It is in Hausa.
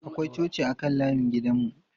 Akwai coci a kan layin gidan mu.